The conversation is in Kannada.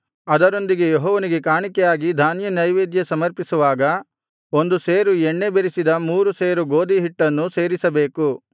ಅದರೊಂದಿಗೆ ಯೆಹೋವನಿಗೆ ಕಾಣಿಕೆಯಾಗಿ ಧಾನ್ಯನೈವೇದ್ಯ ಸಮರ್ಪಿಸುವಾಗ ಒಂದುವರೆ ಸೇರು ಎಣ್ಣೆ ಬೆರಸಿದ ಮೂರು ಸೇರು ಗೋದಿಯ ಹಿಟ್ಟನ್ನೂ ಸೇರಿಸಬೇಕು